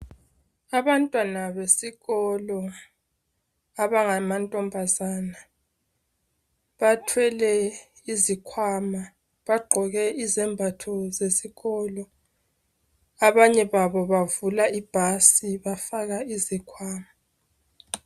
Abantwana besikolo abangamantombazane bathwele izikhwama bagqoke izembatho zesikolo. Abanye babo bavula ibhasi bafaka uzikhwama.